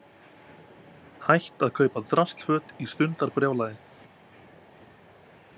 Hætt að kaupa draslföt í stundarbrjálæði